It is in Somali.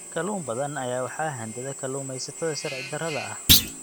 Kalluun badan ayaa waxaa handada kalluumeysatada sharci darrada ah.